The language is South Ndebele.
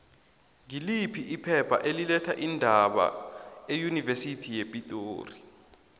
ngiliphi iphepha eli letha iindaba eunivesithi yepitori